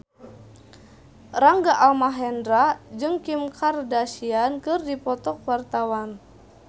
Rangga Almahendra jeung Kim Kardashian keur dipoto ku wartawan